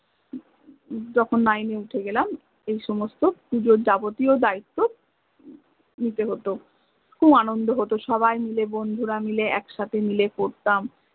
যখন nine এ উথে গেলাম এই সমস্ত পুজোর জাগতিয় দায়িত্ব নিতে হত, খুব আনন্দ হত সবাই মিলে বন্ধুরা মিলে একসাথে মিলে পরতাম